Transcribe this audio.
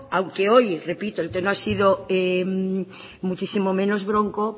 aunque hoy repito el tema ha sido muchísimo menos bronco